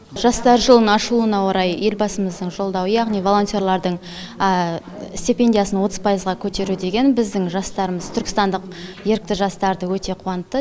жастар жылының ашылуына орай елбасымыздың жолдауы яғни волонтерлардың стипендиясын отыз пайызға көтеру деген біздің жастарымыз түркістандық ерікті жастарды өте қуантты